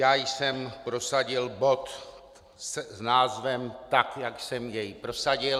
Já jsem prosadil bod s názvem tak, jak jsem jej prosadil.